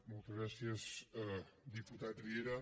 moltes gràcies diputat riera